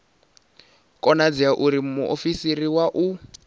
konadzei uri muofisiri wa u